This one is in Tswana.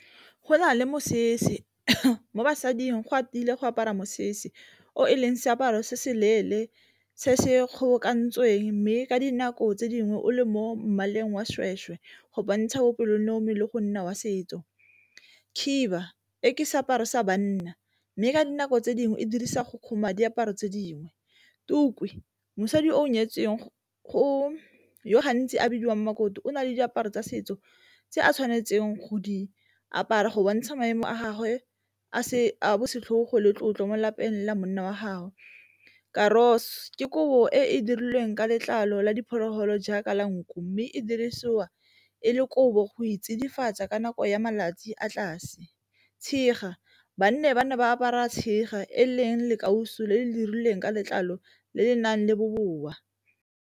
Go na le mosese mo basading go a tile go apara mosese o e leng seaparo se se leele se se kgobokantsweng, mme ka dinako tse dingwe o le mo mmaleng wa go bontsha bopelonomi le go nna wa setso. Khiba e ke seaparo sa banna, mme ka dinako tse dingwe e dirisa go diaparo tse dingwe. Tuku mosadi yo o nyetsweng go yo gantsi a bidiwang makoti o na le diaparo tsa setso se a tshwanetseng go di apara go bontsha maemo a gagwe a bosetlhogo le tlotlo mo lapeng la monna wa gago. ke kobo e e dirilweng ka letlalo la diphologolo jaaka la nku, mme e dirisiwa e le kobo go e tsidifatsa ka nako ya malatsi a tlase. Tshega ba ne ba apara tshega e leng le kauso le le dirilweng ka letlalo le le nang le bobowa.